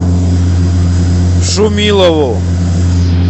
шумилову